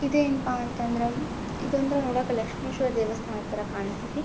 ಇದೇನ್ ಪಾ ಅಂತ ಅಂದ್ರ ಇದಂದ್ರೆ ನೋಡಕ್ ಲಕ್ಷ್ಮಿಶ್ವರ ದೇವಸ್ಥಾನ ತರ ಕಾಣಿಸ್ತದೆ.